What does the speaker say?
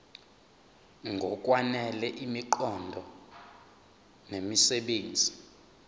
ngokwanele imiqondo nemisebenzi